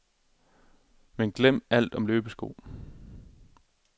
Men glem alt om løbesko.